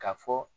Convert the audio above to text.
Ka fɔ